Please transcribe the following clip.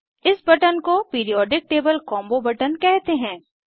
इस बटन को periodic table combo button कहते हैं